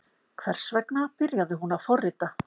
Hvers vegna byrjaði hún að forrita?